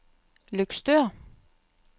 Løgstør